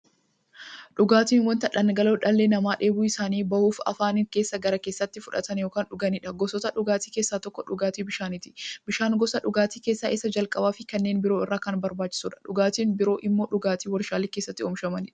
Dhugaatiin wanta dhangala'oo dhalli namaa dheebuu isaanii ba'uuf, afaaniin gara keessaatti fudhatan yookiin dhuganiidha. Gosoota dhugaatii keessaa tokko dhugaatii bishaaniti. Bishaan gosa dhugaatii keessaa isa jalqabaafi kanneen biroo irra kan barbaachisuudha. Dhugaatiin biroo immoo dhugaatii waarshalee keessatti oomishamaniidha.